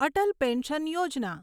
Atal pension Yojana